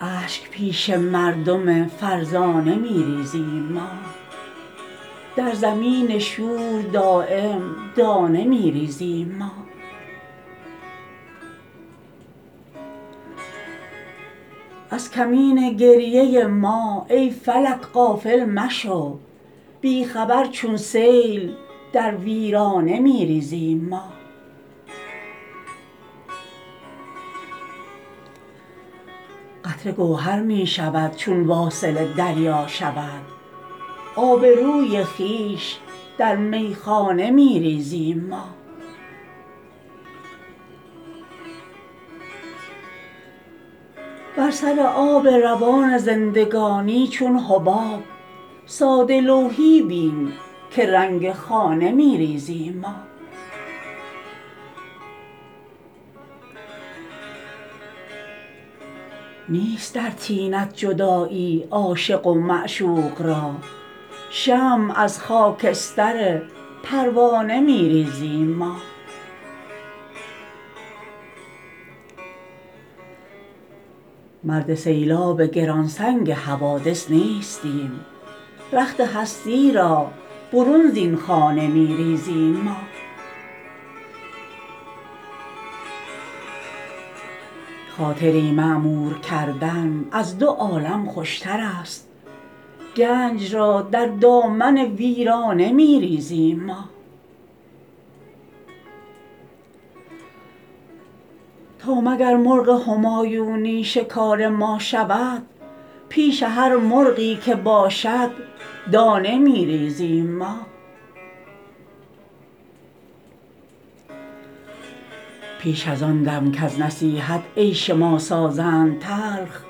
اشک پیش مردم فرزانه می ریزیم ما در زمین شور دایم دانه می ریزیم ما از کمین گریه ما ای فلک غافل مشو بی خبر چون سیل در ویرانه می ریزیم ما قطره گوهر می شود چون واصل دریا شود آبروی خویش در میخانه می ریزیم ما بر سر آب روان زندگانی چون حباب ساده لوحی بین که رنگ خانه می ریزیم ما نیست در طینت جدایی عاشق و معشوق را شمع از خاکستر پروانه می ریزیم ما مرد سیلاب گرانسنگ حوادث نیستیم رخت هستی را برون زین خانه می ریزیم ما خاطری معمور کردن از دو عالم خوشترست گنج را در دامن ویرانه می ریزیم ما تا مگر مرغ همایونی شکار ما شود پیش هر مرغی که باشد دانه می ریزیم ما پیش ازان دم کز نصیحت عیش ما سازند تلخ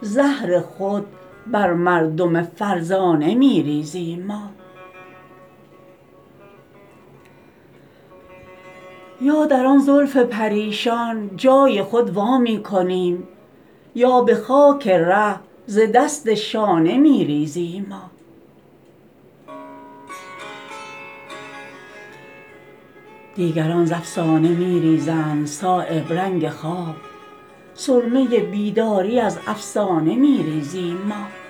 زهر خود بر مردم فرزانه می ریزیم ما یا در آن زلف پریشان جای خود وا می کنیم یا به خاک ره ز دست شانه می ریزیم ما دیگران ز افسانه می ریزند صایب رنگ خواب سرمه بیداری از افسانه می ریزیم ما